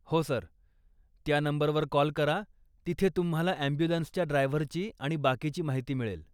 हो सर, त्या नंबरवर कॉल करा, तिथे तुम्हाला ॲम्ब्युलन्सच्या ड्रायव्हरची आणि बाकीची माहिती मिळेल.